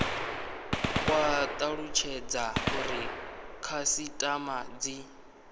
kwa talutshedza uri khasitama dzi